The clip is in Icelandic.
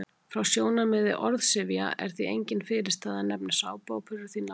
Frá sjónarmiði orðsifja er því engin fyrirstaða að nefna sápuóperur því nafni.